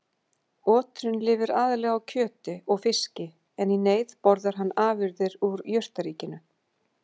Oturinn lifir aðallega á kjöti og fiski en í neyð borðar hann afurðir úr jurtaríkinu.